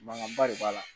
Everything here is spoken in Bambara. Mankanba de b'a la